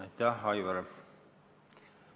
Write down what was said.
Aitäh, Aivar!